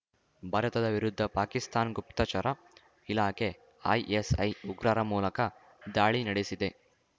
ಭಾರತದ ವಿರುದ್ಧ ಪಾಕಿಸ್ತಾನ್ ಗುಪ್ತಚರ ಇಲಾಖೆ ಐಎಸ್‌ಐ ಉಗ್ರರ ಮೂಲಕ ದಾಳಿ ನಡಿಸಿದೆ